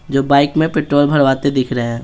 जो बाइक में पेट्रोल भरवाते दिख रहे हैं।